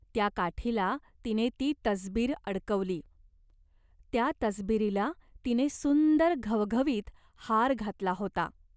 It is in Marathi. त्या काठीला तिने ती तसबीर अडकवली. त्या तसबिरीला तिने सुंदर घवघवीत हार घातला होता.